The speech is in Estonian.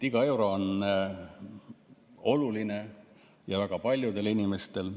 Iga euro on oluline ja väga paljudele inimestele.